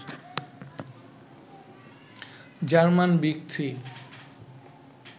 German big three